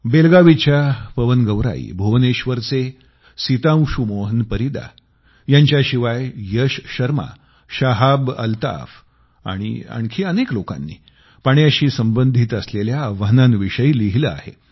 बेलगावीच्या पवन गौराई भुवनेश्वरचे सीतांशू मोहन परीदा यांच्याशिवाय यश शर्मा शाहाब अल्ताफ आणि आणखी अनेक लोकांनी पाण्याशी संबंधित असलेल्या आव्हानांविषयी लिहिलं आहे